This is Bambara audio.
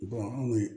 anw